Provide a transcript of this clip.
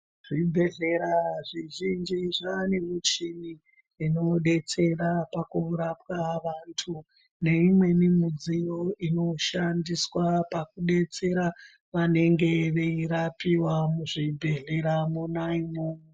Zvibhedhlera zvizhinji zvane michini inodetsera pakurapwa vantu neimweni midziyo inodetsera vanenge veirapiwawo zvibhedhlera mwona imwomwo.